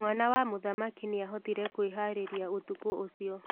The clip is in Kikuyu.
Mwana wa mũthamaki nĩahotire kwĩharĩria ũtukũ ũcio.